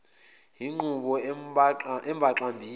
luyinqubo embaxa mbili